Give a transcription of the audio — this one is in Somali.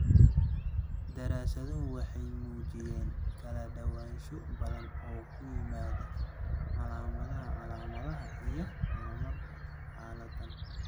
Daraasaduhu waxay muujiyeen kala duwanaansho badan oo ku yimaadda calaamadaha, calaamadaha iyo horumarka xaaladdan.